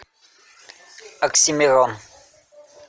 оксимирон